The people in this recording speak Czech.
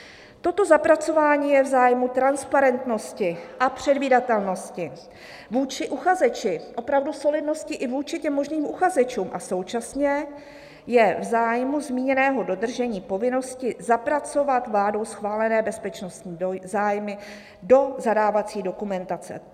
"Toto zapracování je v zájmu transparentnosti - a předvídatelnosti vůči uchazeči" - opravdu solidnosti i vůči těm možným uchazečům - "a současně je v zájmu zmíněného dodržení povinnosti zapracovat vládou schválené bezpečnostní zájmy do zadávací dokumentace."